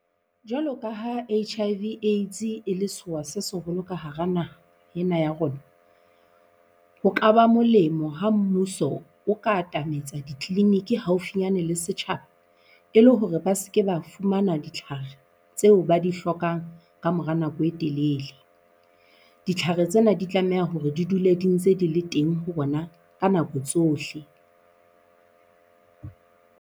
Jwalo ka ha H_I_V Aids e le sewa se seholo ka hara naha ena ya rona, ho kaba molemo ha mmuso o ka atametsa di-clinic haufinyane le setjhaba, e le hore ba se ke ba fumana ditlhare tseo ba di hlokang ka mora nako e telele. Ditlhare tsena di tlameha hore di dule di ntse di le teng ho rona ka nako tsohle.